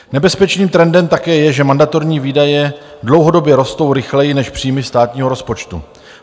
Nebezpečným trendem také je, že mandatorní výdaje dlouhodobě rostou rychleji než příjmy státního rozpočtu.